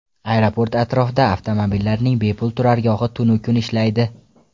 Aeroport atrofida avtomobillarning bepul turargohi tunu kun ishlaydi.